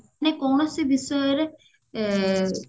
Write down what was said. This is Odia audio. ମାନେ କୌଣସି ବିଷୟରେ ଏ